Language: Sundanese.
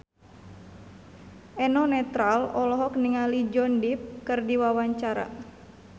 Eno Netral olohok ningali Johnny Depp keur diwawancara